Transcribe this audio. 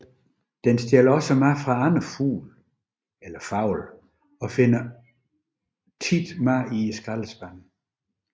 Den stjæler også mad fra andre fugle og finder ofte mad i skraldespande